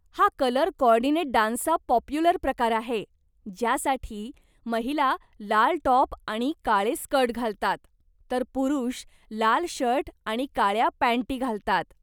हा colour coordinate डान्सचा popular प्रकार आहे, ज्यासाठी महिला लाल टॉप आणि काळे स्कर्ट घालतात, तर पुरुष लाल शर्ट आणि काळ्या पँटी घालतात.